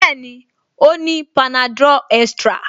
Bẹ́ẹ̀ni, ó ní panadol extra